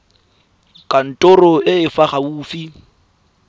kantorong e e fa gaufi